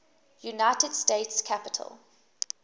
united states capitol